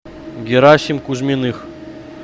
герасим кузьминых